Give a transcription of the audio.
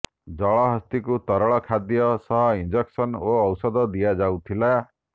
ଜଳହସ୍ତୀକୁ ତରଳ ଖାଦ୍ୟ ସହ ଇଂଜେକ୍ସନ ଓ ଓଷଧ ଦିଆଯାଉଥିଲା